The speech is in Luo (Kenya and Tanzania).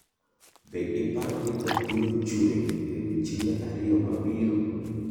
Be iparo ni koth biro chwe e odiochienge ariyo mabiro?